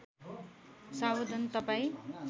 सावधान तपाईँ